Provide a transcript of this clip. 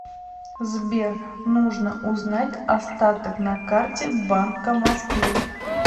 сбер нужно узнать остаток на карте банка москвы